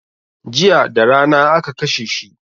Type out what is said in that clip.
Jiya darana aka kashe shi